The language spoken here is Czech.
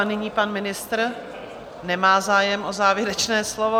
A nyní pan ministr - nemá zájem o závěrečné slovo.